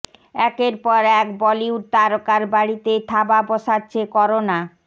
একের পর এক বলিউড তারকার বাড়িতে থাবা বসাচ্ছে করোনা